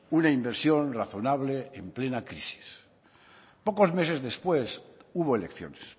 una inversión razonable en plena crisis pocos meses después hubo elecciones